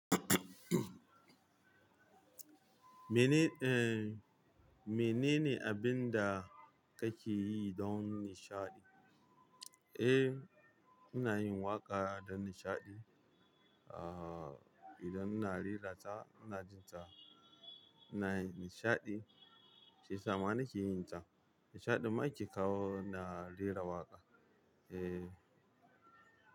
Mene, eh, mene ne abin da kake yi don nishaɗi? Eh, ina yin waƙa don nishaɗi. Ah, idan ina rera ta, ina jin ta ina nishaɗi, shiyasa ma nake yin ta. Nishaɗin ma ke kawo na rera waƙa. Eh.